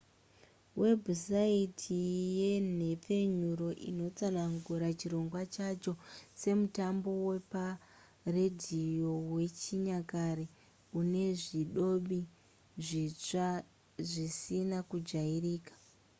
webhusaiti yenhepfenyuro inotsanangura chirongwa chacho semutambo weparedhiyo wechinyakare une zvidobi zvitsva zvisina kujairika